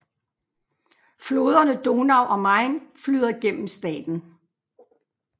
Floderne Donau og Main flyder gennem staten